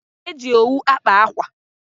E ji owu akpa akwa.